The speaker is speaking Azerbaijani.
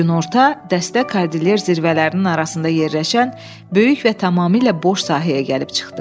Günorta dəstə Kordilyer zirvələrinin arasında yerləşən böyük və tamamilə boş sahəyə gəlib çıxdı.